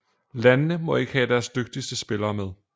Landene må ikke have deres dygtigste spillere med